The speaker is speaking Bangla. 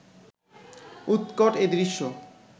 উৎকট এই দৃশ্য